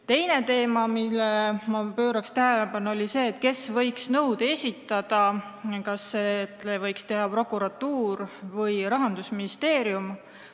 Teine teema, millele ma tähelepanu juhiksin, on see, kes võiks nõude esitada, kas seda võiks teha prokuratuur või Rahandusministeerium.